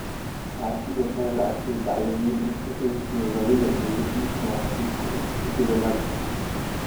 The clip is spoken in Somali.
Waxaa sidoo kale la arkay dhacdooyin inta lagu jiro raridda iyo dejinta maraakiibta ee dekedda Lagos.